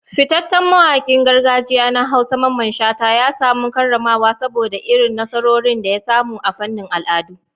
Fitaccen mawakin gargajiya na Hausa, Mamman Shata, ya samu karramawa saboda irin nasarorin da ya samu a fannin al'adu.